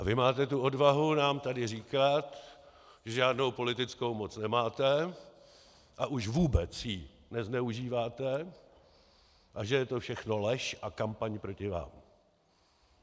A vy máte tu odvahu nám tady říkat, že žádnou politickou moc nemáte, a už vůbec ji nezneužíváte, a že je to všechno lež a kampaň proti vám.